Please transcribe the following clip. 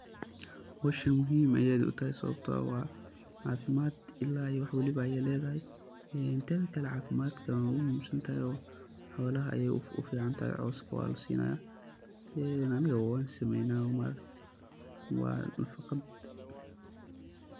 Howshan aad ayey muhim u tahay sababto ah cafimaad ila iya wax waliba ayey ledahay , een teda kale cafimadka wey u muhim santahay oo holaha ayey u ficantahay, oo cowska waa lasinaya anigabo wan sameynaa maaragte waa nafaqaad.